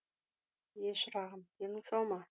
е шырағым денің сау ма